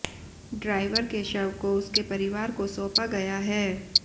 driver के शव को उसके परिवार को सौंपा गया है